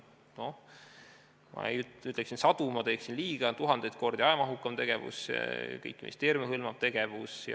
Kui ma ütleksin, et sadu kordi, siis ma teeksin liiga, see on tuhandeid kordi ajamahukam tegevus, kõiki ministeeriume hõlmav tegevus.